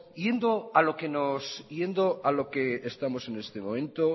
yendo a lo que estamos en este momento